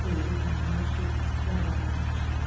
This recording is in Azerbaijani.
Xeyrin ayağına düşüb yalvarmağa başladı.